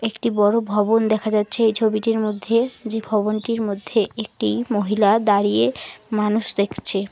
একটি বড় ভবন দেখা যাচ্ছে এই ছবিটির মধ্যে যে ভবনটির মধ্যে একটি মহিলা দাঁড়িয়ে মানুষ দেখছে।